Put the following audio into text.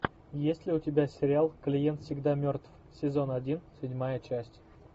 есть ли у тебя сериал клиент всегда мертв сезон один седьмая часть